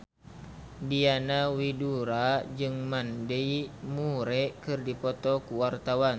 Diana Widoera jeung Mandy Moore keur dipoto ku wartawan